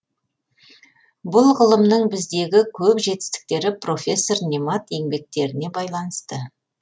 бұл ғылымның біздегі көп жетістіктері профессор немат еңбектеріне байланысты